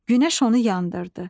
Günəş onu yandırdı.